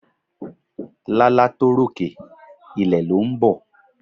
Lálá tó ròkè, ilẹ̀ lọ ń bọ̀.